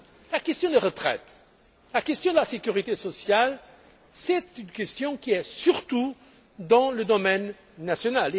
La question des retraites, la question de la sécurité sociale, c'est une question qui relève surtout du domaine national.